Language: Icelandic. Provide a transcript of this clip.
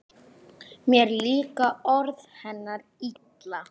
Mér líka orð hennar illa: